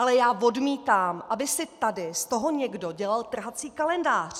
Ale já odmítám, aby si tady z toho někdo dělal trhací kalendář.